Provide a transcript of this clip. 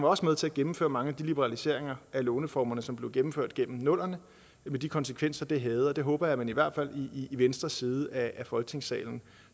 også med til at gennemføre mange af de liberaliseringer af låneformerne som blev gennemført gennem nullerne med de konsekvenser det havde det håber jeg at man i hvert fald i venstre side af folketingssalen